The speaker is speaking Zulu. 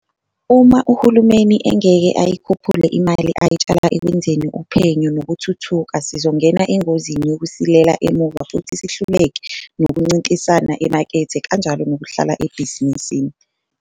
Uma uhulumeni engeke ayikhuphule imali ayitshala ekwenzeni uphenyo nokuthuthuka sizongena engozini yokusilela emuva futhi sihluleke nokuncintisana emakethe kanjalo nokuhlala ebhizinisini.